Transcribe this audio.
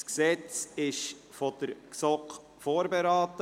Dieses Gesetz wurde von der GSoK vorberaten.